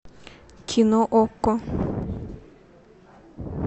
кино окко